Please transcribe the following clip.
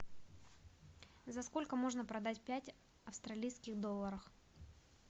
за сколько можно продать пять австралийских долларов